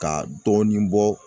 Ka dɔɔnin bɔ.